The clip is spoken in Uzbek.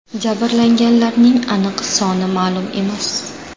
Jabrlanganlarning aniq soni ma’lum emas.